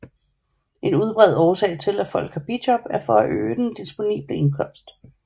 En udbredt årsag til at folk har bijob er for at øge den disponible indkomst